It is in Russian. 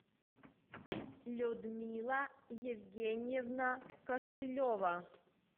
людмила евгеньевна костылева